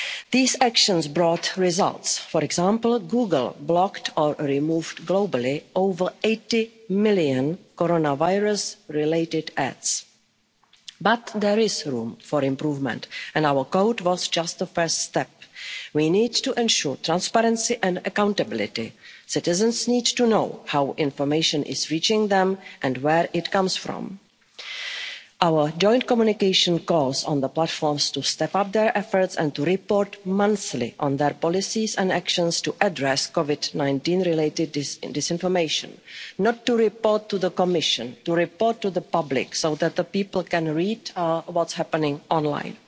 Joseph. These actions brought results. For example, Google blocked or removed globally over 80 million coronavirus-related ads. But there is room for improvement and our code was just a first step. We need to ensure transparency and accountability. Citizens need to know how information is reaching them and where it comes from. Our joint communication calls on the platforms to step up their efforts and to report monthly on their policies and actions to address COVID-19-related disinformation not to report to the Commission, to report to the public, so that people can read about what's happening